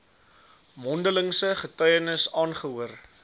mondelingse getuienis aangehoor